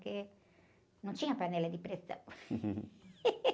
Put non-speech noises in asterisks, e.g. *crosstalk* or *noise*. Porque não tinha panela de pressão. *laughs*